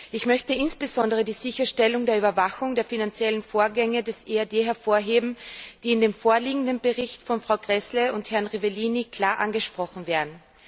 Ich möchte insbesondere die Sicherstellung der Überwachung der finanziellen Vorgänge des EAD hervorheben, die in dem vorliegenden Bericht von Frau Gräßle und Herrn Rivellini klar angesprochen werden.